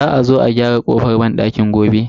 Za a zo a gyara kofan banɗakin gobe.